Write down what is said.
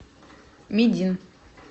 медин